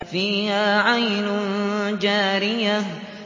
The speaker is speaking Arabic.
فِيهَا عَيْنٌ جَارِيَةٌ